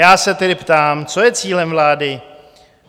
Já se tedy ptám, co je cílem vlády?